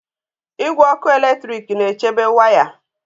Igwe ọkụ eletrik na-echebe waya